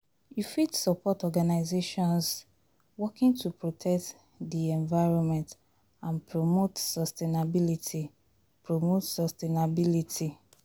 You fit suport organizations working to protect di environment and promote sustainability. promote sustainability.